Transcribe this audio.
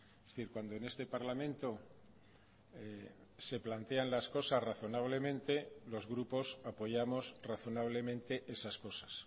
es decir cuando en este parlamento se plantean las cosas razonablemente los grupos apoyamos razonablemente esas cosas